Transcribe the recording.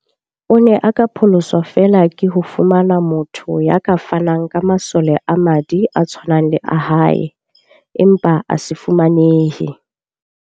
O ne a ka pholoswa feela ke ho fumana motho ya ka fanang ka masole a madi a tshwanang le a hae, empa a se fumanehe.